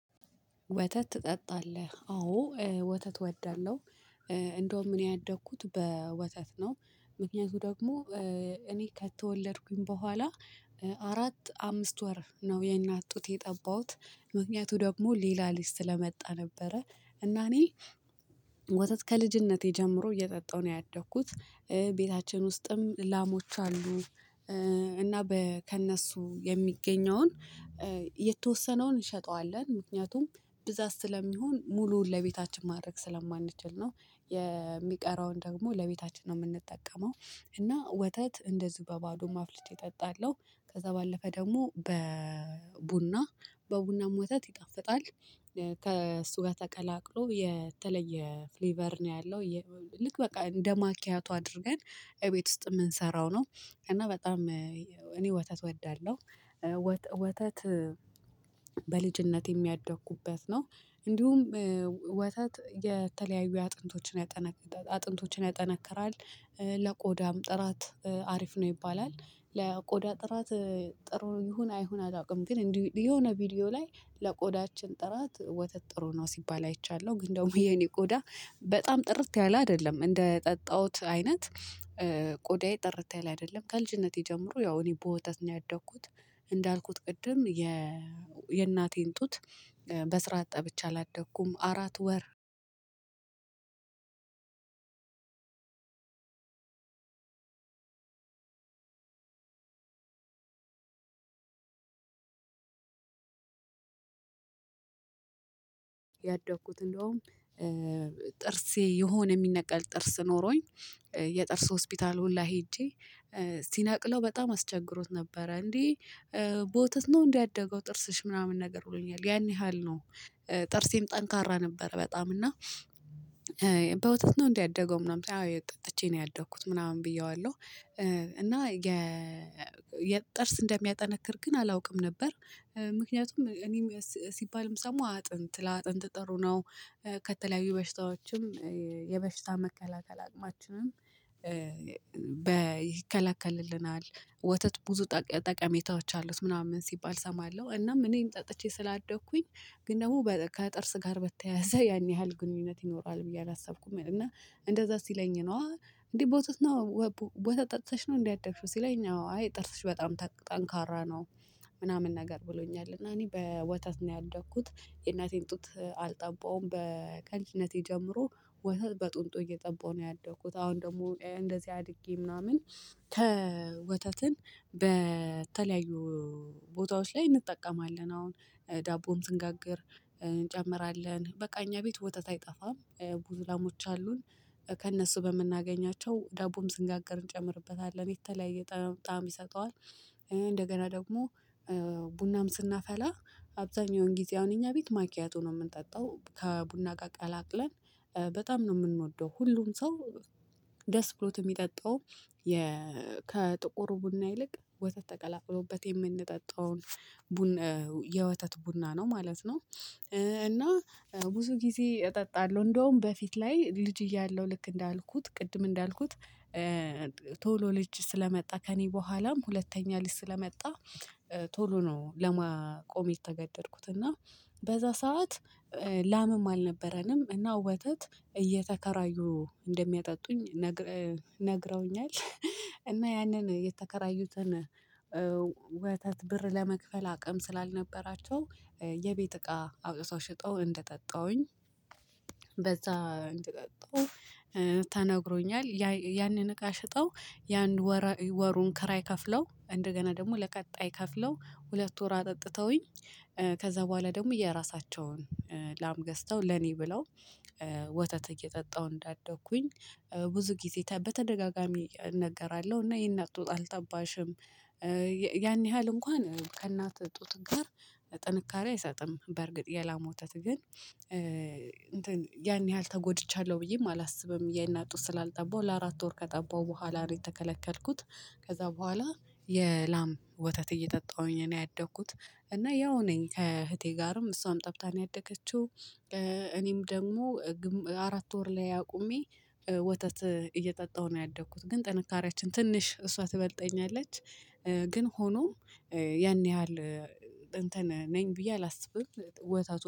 ወተት ትጠጣለህ አዎ ወተት እወዳለሁ። እንደውም እኔ ያደግኩት በወተት ነው። ምክንያቱም ደግሞ እኔ ከተወለድኩኝ በኋላ አራት አምስት ወር ነው የእናት ጡት የጠባሁት ምክንያቱ ደግሞ ሌላ ልጅ ሰለመጣ ነበረ። እና እኔ ወተት ከልጅነቴ ጀምሮ እየጠጣሁ ነው ያደኩት። ቤታችን ውስጥም ላሞች አሉን። እና ከእነሱ የሚገኘውን የተወሰነውን እንሸጠዋለን ምክንያቱም ብዛት ስለሚሆን ሙሉውን ለቤታችን ማድረግ ስለማንችል ነው። የሚቀረውን ደግሞ ለቤታችን ነው የምንጠቀመው። እና ወተት እንደዚሁ በባዶም አፍልቼ እጠጣለው ከዛ ባለፈ ደግሞ በቡና በቡናም ወተት ይጣፍጣል። ከእሱ ጋር ተቀላቅሎ የተለየ ፍሊቨር ነው ያለው። ልክ በቃ እንደማኪያቶ አድርገን እቤት ውስጥ የምንሰራው ነው። እና በጣም እኔ ወተት እወዳለሁ። ወተት በልጅነቴም የሚያደኩበት ነው። እንዲሁም ወተት የተለያዩ አጥንቶችን ያጠነክራል አጥንቶችን ያጠነክራል። ለቆዳም ጥራት አሪፍ ነው ይባላል። ለቆዳ ጥራት ጥሩ ይሁን አይሁን አላውቅም ግን የሆነ ቪዲዮ ላይ ለቆዳችን ጥራት ወተት ጥሩ ነው ሲባል አይቻለሁ ግን ደግሞ የኔ ቆዳ በጣም ጥርት ያለ አይደለም እንደጠጣሁት አይነት። ቆዳዬ ጥርት ያለ አይደለም ከልጅነቴ ጀምሮ ያው እኔ በወተት ነው ያደኩት። እንዳልኩት ቅድም የእናቴን ጡት በስራት ጠብቼ አላደኩም አራት ወር አንድ ሁለት ሶስት አራት አምስት። ያደኩት እንደውም ጥርሴ የሆነ የሚነቀል ጥርስ ኖሮኝ። የጥርስ ሆስፒታል ሁላ ሄጄ ሲነቅለው በጣም አስቸግሮት ነበረ እንዴ በወተት ነው እንዴ ያደገው ጥርስሽ ምናምን ነገር ብሎኛል ያን ያህል ነው። ጥርሴም ጠንካራ ነበር። በጣም እና በወተት ነው እንዴ ያደገው ምናምን አዎ ጠጥቼ ነው ያደኩት ምናምን ብዬዋለሁ። እና የጥርስ እንደሚያጠነክር ግን አላውቅም ነበር። ምክንያቱም እኔም ሲባልም የምሰማው ለአጥንት ለአጥንት ጥሩ ነው። ከተለያዩ በሽታዎችም የበሽታ መከላከል አቅማችንም። ይከላከልልናል። ወተት ብዙ ጠቀሜታዎች አሉት ምናምን ሲባል እሰማለሁ። እናም እኔም ጠጥቼ ስላደኩኝ ግን ደግሞ ከጥርስ ጋር በተያያዘ ያን ያህል ግንኙነት ይኖረዋል ብዬ አላሰብኩም። እና እንደዛ ሲለኝ ነው እንዴ በወተት ነው? ወተት ጠጥተሽ ነው እንዴ ያደግሺው ሲለኝ አዎ አይ ጥርስሽ በጣም ጠንካራ ነው። ምናምን ነገር ብሎኛል እና እኔ በወተት ነው ያደግኩት የእናቴን ጡት አልጠባውም በከልጅነቴ ጀምሮ። ወተት በጥንት እየጠበኩ ነው ያደኩት አሁን ደግሞ እንደዚህ አድጌ ምናምን። ከወተትን በተለያዩ ቦታዎች ላይ እንጠቀማለን አሁን ዳቦም ዝንጋግር። እንጨምራለን በቃ እኛ ቤት ወተት አይጠፋም። ብዙ ላሞች አሉን። ከእነሱ በምናገኛቸው ዳቦም ስንጋገር እንጨምርበታለን የተለያየ ጣም ይሰጠዋል። እንደገና ደግሞ ቡናም ስናፈላ አብዛኛውን ጊዜ እኛ ቤት ማኪያቶ ነው የምንጠጣው ከቡና ጋር ቀላቅለን በጣም ነው የምንወደው ሁሉም ሰው ደስ ብሎት የሚጠጣው። ከጥቁር ቡና ይልቅ ወተት ተቀላቅሎበት የምንጠጣውን የወተት ቡና ነው ማለት ነው። እና ብዙ ጊዜ እጠጣለሁ እንደውም በፊት ላይ ልጅ እያለሁ ልክ እንዳልኩት ቅድም እንዳልኩት። ቶሎ ልጅ ስለመጣ ከእኔ በኋላም ሁለተኛ ልጅ ስለመጣ ቶሎ ነው ለማቆም የተገደድኩት እና በዛ ሰዓት ላምም አልነበረኝም እና ወተት እየተከራዩ እንደሚያጠጡኝ ነግረውኛል። እና ያንን የተከራዩትን ወተት ብር ለመክፈል አቅም ስላልነበራቸው የቤት እቃ አውጥተው ሽጠው እንደጠጣሁኝ። በዛ እንደጠጣሁ ተነግሮኛል ያንን እቃ ሽጠው የአንድ ወር ወሩን ከራይ ከፍለው እንደገና ደግሞ ለቀጣይ ከፍለው ሁለት ወር አጠጥተውኝ። ከዛ በኋላ ደግሞ የራሳቸውን ላም ገዝተው ለኔ ብለው ወተት እየጠጣሁ እንዳደግኩኝ። ብዙ ጊዜ በተደጋጋሚ እነገራለሁ እና የእናት ጡት አልጠባሽም። ያን ያህል እንኳን ከእናት ጡት ጋር ጥንካሬ አይሰጥም በርግጥ የላም ወተት ግን እንትን ያን ያህል ተጎድቻለሁ ብዬም አላስብም የእናት ጡት ስላልጠባው ለአራት ወር ከጠባው በኋላ ነው የተከለከልኩት። ከዛ በኋላ የላም ወተት እየጠጣሁኝ ነው ያደግኩት። እና ያው ነኝ ከእህቴ ጋርም እሷም ጠብታ ነው ያደገችው። እኔም ደግሞ አራት ወር ላይ አቁሜ ወተት እየጠጣሁ ነው ያደኩት ግን ጥንካሬያችን ትንሽ እሷ ትበልጠኛለች። ግን ሆኖም ያን ያህል እንትን ነኝ ብዬ አላስብም። ወተቱን